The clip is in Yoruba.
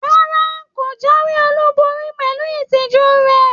Rárá, ko jáwéolubori pẹlú ìtìjú rẹ.